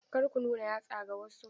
Kar ku nuna yatsa ga wasu!